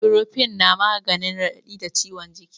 Iborofen na maganin raɗaɗi da ciwon jiki